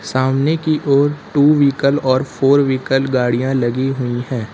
सामने की ओर टू व्हीकल और फोर व्हीकल गाड़ियां लगी हुई हैं।